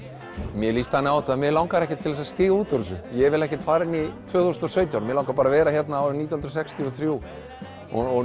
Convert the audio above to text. mér líst þannig á þetta að mig langar ekkert til þess að stíga út úr þessu ég vil ekkert fara inn í tvö þúsund og sautján mig langar bara að vera hérna árið nítján hundruð sextíu og þrjú og